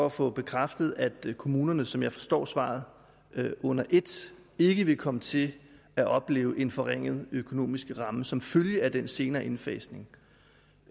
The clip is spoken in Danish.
at få bekræftet at kommunerne som jeg forstår svaret under ét ikke vil komme til at opleve en forringet økonomisk ramme som følge af den senere indfasning